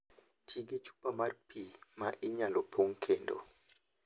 Ti gi chupa mar pi ma inyalo pong' kendo.